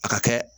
A ka kɛ